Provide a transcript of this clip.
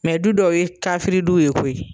du dɔw ye kafiri du ye koyi.